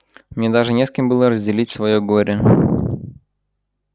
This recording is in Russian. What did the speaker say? мне даже не с кем было разделить своё горе